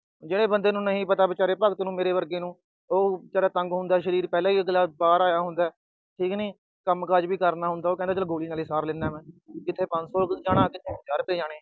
ਜਿਹੜੇ ਬੰਦੇ ਨੂੰ ਨਹੀਂ ਪਤਾ, ਵਿਚਾਰੇ ਭਗਤ ਨੂੰ, ਮੇਰੇ ਵਰਗੇ ਨੂੰ। ਉਹ ਵਿਚਾਰਾ ਤੰਗ ਹੁੰਦਾ, ਸਰੀਰ ਪਹਿਲਾ ਹੀ ਅਗਲਾ ਬਾਹਰ ਆਇਆ ਹੁੰਦਾ, ਠੀਕ ਨੀ। ਕੰਮਕਾਜ ਵੀ ਕਰਨਾ ਹੁੰਦਾ, ਉਹ ਕਹਿੰਦਾ ਚਲ ਗੋਲੀ ਨਾਲ ਹੀ ਸਾਰ ਲੈਂਦਾ ਮੈਂ। ਕਿੱਥੇ ਪੰਜ ਸੌ ਜਾਣਾ, ਕਿਥੇ ਪੰਜਾਹ ਰੁਪਏ ਜਾਣੇ।